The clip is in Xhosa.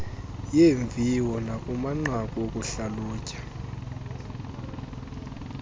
yeemviwo nakumanqaku okuhlalutya